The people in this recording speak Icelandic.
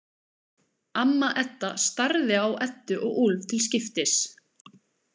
Amma Edda starði á Eddu og Úlf til skiptis.